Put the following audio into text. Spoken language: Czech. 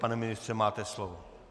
Pane ministře, máte slovo.